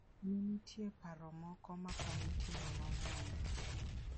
Ne nitie paro moko ma komitino nong'ado.